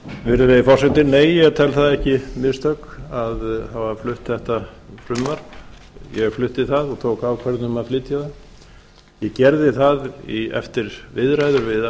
virðulegi forseti nei ég tel það ekki mistök að það var flutt þetta frumvarp ég flutti það og tók ákvörðun um að flytja það ég gerði það eftir viðræður við